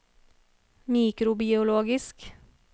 mikrobiologisk